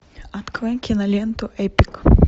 открой киноленту эпик